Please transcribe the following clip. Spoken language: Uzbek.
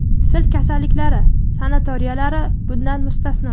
sil kasalliklari sanatoriyalari bundan mustasno;.